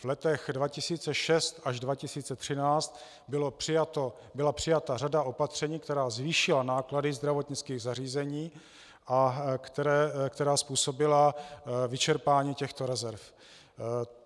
V letech 2006 až 2013 byla přijata řada opatření, která zvýšila náklady zdravotnických zařízení a která způsobila vyčerpání těchto rezerv.